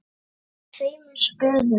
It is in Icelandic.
Ég henti tveimur spöðum.